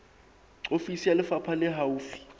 ofisi ya lefapha le haufi